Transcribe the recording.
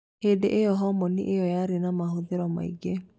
Hĩndĩ iyo hũmoni ĩyo yarĩ na mahũthero maingĩ